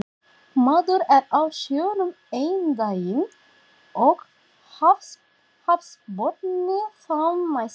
Maður er á sjónum einn daginn og hafsbotni þann næsta